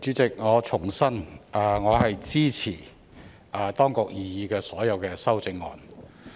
代理主席，我重申，我支持當局的所有擬議修正案。